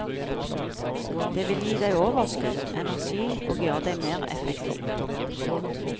Det ville gi deg overskudd, energi og gjøre deg mer effektiv.